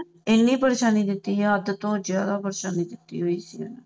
ਏਨੀ ਪਰੇਸ਼ਾਨੀ ਦਿੱਤੀ ਹੋਈ ਸੀ ਨਾ ਹੱਦ ਤੋਂ ਜ਼ਿਆਦਾ ਪਰੇਸ਼ਾਨੀ ਦਿੱਤੀ ਹੋਈ ਸੀ ਇੰਨੇ